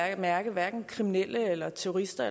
at mærke hverken kriminelle eller terrorister